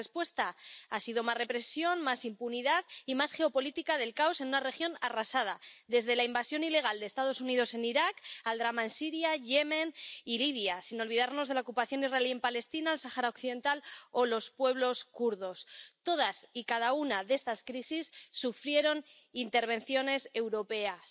La respuesta ha sido más represión, más impunidad y más geopolítica del caos en una región arrasada desde la invasión ilegal de los Estados Unidos en Irak al drama en Siria, Yemen y Libia, sin olvidarnos de la ocupación israelí en Palestina, el Sáhara Occidental o los pueblos kurdos. Todas y cada una de estas crisis sufrieron intervenciones europeas